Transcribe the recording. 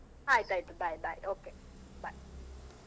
ಆಯ್ತ ಆಯ್ತು. Bye, bye okay, bye .